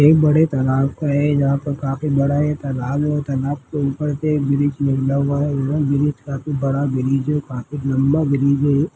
एक बड़ा तालाब है जहाँ पर काफी बड़ा ये तालाब है और तालाब के ऊपर से एक ब्रिज निकला हुआ है एवं ब्रिज काफी बड़ा ब्रिज है काफी लम्बा ब्रिज है ये --